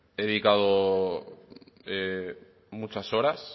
he dedicado